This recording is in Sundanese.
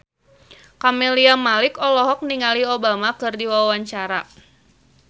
Camelia Malik olohok ningali Obama keur diwawancara